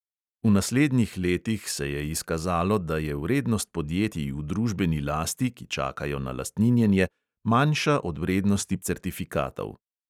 V naslednjih letih se je izkazalo, da je vrednost podjetij v družbeni lasti, ki čakajo na lastninjenje, manjša od vrednosti certifikatov.